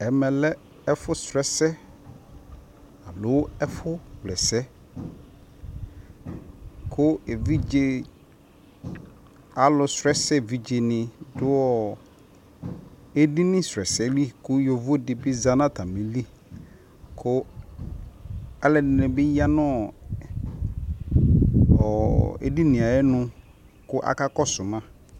ɛmʋ lɛ ɛƒʋ srɔ ɛsɛ alɔ ɛƒʋ wlɛsɛ kʋ ɛvidzɛ alʋ srɔ ɛsɛ ɛvidzɛ ni dʋ ɛdini srɔ ɛsɛli kʋ yɔvɔ dibi zanʋ nʋ dibi zanʋ atamili kʋ alʋɛdini bi yanɔ ɛdini ayɔnʋ kʋ aka kɔsʋ ma